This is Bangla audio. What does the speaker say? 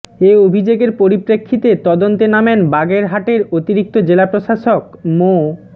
এ অভিযোগের পরিপ্রেক্ষিতে তদন্তে নামেন বাগেরহাটের অতিরিক্ত জেলা প্রশাসক মো